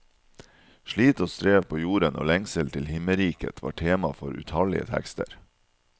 Slit og strev på jorden og lengsel til himmelriket, var tema for utallige tekster.